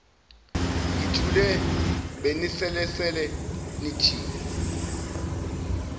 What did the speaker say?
ngithule benibelesele nithi